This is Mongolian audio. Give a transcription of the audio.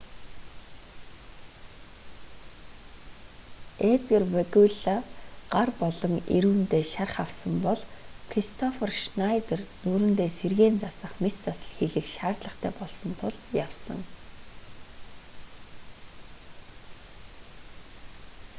эдгар вегуйлла гар болон эрүүндээ шарх авсан бол кристоффер шнайдер нүүрэндээ сэргээн засах мэс засал хийлгэх шаардлагатай болсон тул явсан